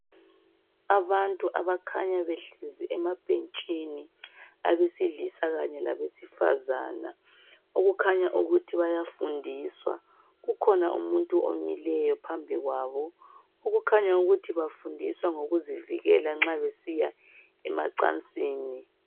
Abantu abakhanya behlezi emabhentshini abesilisa kanye labesifazane okukhanya ukuthi bayafundiswa. Kukhona umuntu omileyo phambi kwabo okukhanya ukuthi bafundiswa ngokuzivikela nxa besiya emacansini.